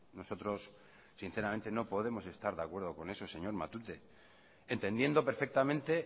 nosotros sinceramente no podemos estar de acuerdo con eso señor matute entendiendo perfectamente